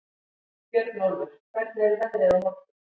Björnólfur, hvernig er veðrið á morgun?